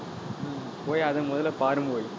உம் போய் அதை முதல்ல பாரும் ஒய்